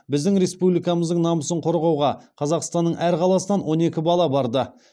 біздің республикамыздың намысын қорғауға қазақстанның әр қаласынан он екі бала барды